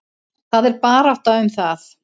Það er barátta um það.